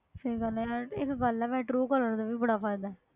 ਸਹੀ ਗੱਲ ਹੈ, ਇੱਕ ਗੱਲ ਹੈ ਵੈਸੇ ਟਰੂਅ ਕਾਲਰ ਦਾ ਵੀ ਬੜਾ ਫ਼ਾਇਦਾ ਹੈ,